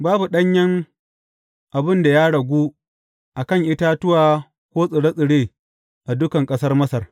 Babu ɗanyen abin da ya ragu a kan itatuwa ko tsire tsire a dukan ƙasar Masar.